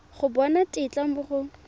go bona tetla mo go